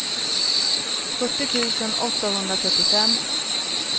fyrtio tusen åttahundratrettiofem